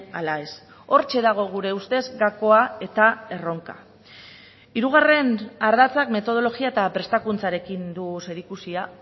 ala ez hortxe dago gure ustez gakoa eta erronka hirugarren ardatzak metodologia eta prestakuntzarekin du zerikusia